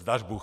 Zdař Bůh.